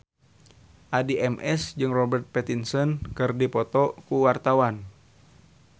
Addie MS jeung Robert Pattinson keur dipoto ku wartawan